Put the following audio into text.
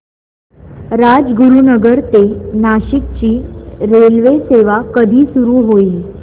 राजगुरूनगर ते नाशिक ची रेल्वेसेवा कधी सुरू होईल